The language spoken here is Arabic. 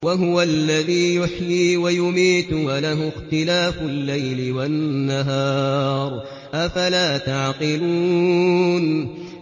وَهُوَ الَّذِي يُحْيِي وَيُمِيتُ وَلَهُ اخْتِلَافُ اللَّيْلِ وَالنَّهَارِ ۚ أَفَلَا تَعْقِلُونَ